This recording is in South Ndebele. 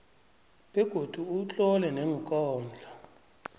begodu utlole neenkondlo